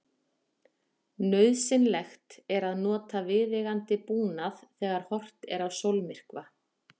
nauðsynlegt er að nota viðeigandi búnað þegar horft er á sólmyrkva